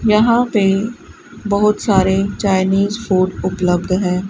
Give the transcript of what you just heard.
यहां पे बहुत सारे चाइनीस फूड उपलब्ध हैं।